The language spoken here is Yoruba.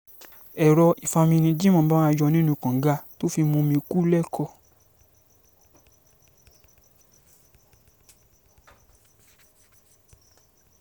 èrò ìfami ni jimo ń bá wọn yọ̀ nínú kànga tó fi mumi kù lẹ́kọ̀ọ́